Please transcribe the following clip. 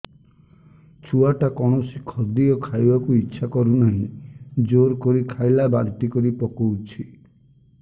ଛୁଆ ଟା କୌଣସି ଖଦୀୟ ଖାଇବାକୁ ଈଛା କରୁନାହିଁ ଜୋର କରି ଖାଇଲା ବାନ୍ତି କରି ପକଉଛି